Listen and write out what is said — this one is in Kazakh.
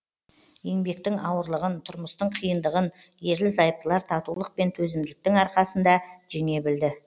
еңбектің ауырлығын тұрмыстың қиындығын ерлі зайыптылар татулық пен төзімділіктің арқасында жеңе білді